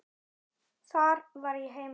Þar var ég heima.